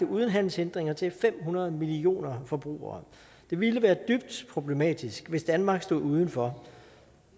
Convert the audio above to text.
uden handelshindringer til fem hundrede millioner forbrugere det ville være dybt problematisk hvis danmark stod udenfor og